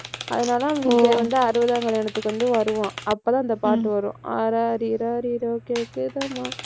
அதனாலதான் அவன் வந்து அறுபதாம் கல்யாணத்துக்கு வந்து வருவான். அப்பதான், இந்த பாட்டு வரும். ஆராரி ராரிரோ கேக்குதம்மா